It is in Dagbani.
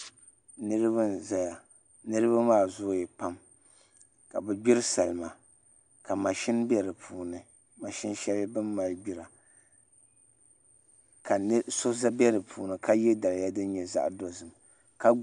niriba n-zaya niriba maa zooya pam ka bɛ gbiri salima ka machini be di puuni mashini shɛli bɛ mali gbira ka so be di puuni ka ye daliya din nyɛ zaɣ' dozim